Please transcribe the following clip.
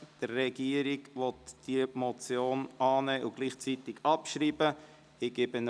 Die Regierung will diese Motion annehmen und gleichzeitig abschreiben.